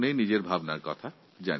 আমাকে ফোন করে নিজের মতামত জানিয়েছেন